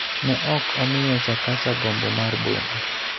ne ok omiyo Chakacha gombo mar boma.